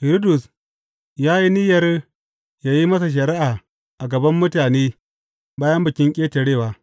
Hiridus ya yi niyyar ya yi masa shari’a a gaban mutane bayan Bikin Ƙetarewa.